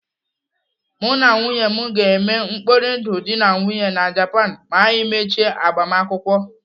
Mụ na nwunye m ga-eme mkpori ndụ dị na nwunye na Japan ma anyị mechie agbamakwụkwọ.